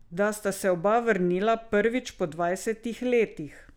Da sta se oba vrnila prvič po dvajsetih letih.